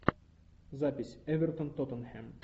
запись эвертон тоттенхэм